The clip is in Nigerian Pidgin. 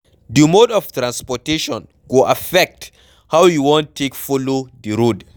Di mode of transportation go affect how you wan take follow di road